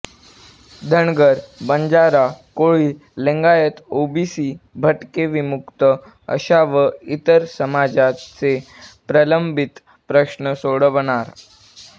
Dhangar Banjara Koli Lingayat OBC भटके विमुक्त अशा व इतर समाजाचे प्रलंबित प्रश्न सोडवणार